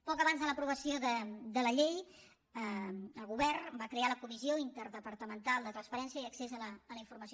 poc abans de l’aprovació de la llei el govern va crear la comissió interdepartamental de transparència i accés a la informació